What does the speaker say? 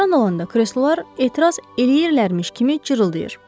Oturan olanda kreslolar etiraz eləyirlərmiş kimi cırıldayır.